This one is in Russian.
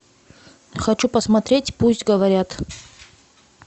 хочу посмотреть пусть говорят